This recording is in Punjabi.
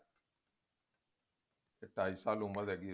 ਢਾਈ ਸਾਲ ਉਮਰ ਹੈਗੀ